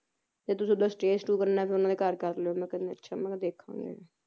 ਤੇ ਤੁਸੀ ਓਹਦਾ stay ਸਟੂ ਕਰਨਾ ਉਹਨਾਂ ਦੇ ਘਰ ਕਰ ਲਿਓ ਮੈਂ ਕਿਹਾ ਅੱਛਾ ਮੈਂ ਕਿਹਾ ਦੇਖਾਂਗੇ